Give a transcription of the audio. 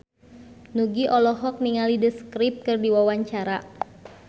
Nugie olohok ningali The Script keur diwawancara